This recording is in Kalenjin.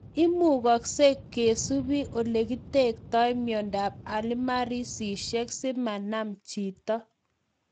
Imukagsei kesupe olekitektoi miondap alzheimersishek simanam chito